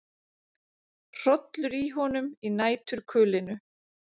Hrollur í honum í næturkulinu.